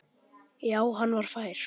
Já, hann var fær!